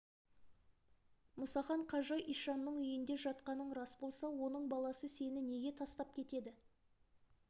мұсахан қажы ишанның үйінде жатқаның рас болса оның баласы сені неге тастап кетеді